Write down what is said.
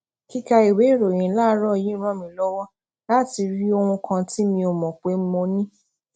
kíka ìwé ìròyìn láàárò yìí ràn mí lówó láti rí ohun kan tí mi ò mò pé mo ni